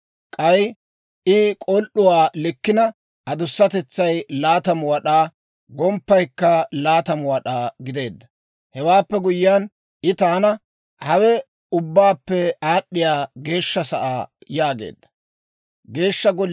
K'ay I k'ol"uwaa likkina adusatetsay 20 wad'aa, gomppaykka 20 wad'aa gideedda. Hewaappe guyyiyaan I taana, «Hawe Ubbaappe Aad'd'iyaa Geeshsha Sa'aa» yaageedda.